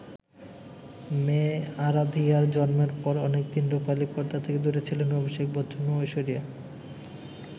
মেয়ে আরাধিয়ার জন্মের পর অনেক দিন রুপালি পর্দা থেকে দূরে ছিলেন অভিষেক বচ্চন ও ঐশ্বরিয়া।